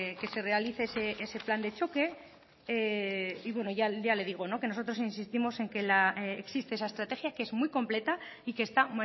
que se realice ese plan de choque y bueno ya le digo que nosotros insistimos en que existe esa estrategia que es muy completa y que está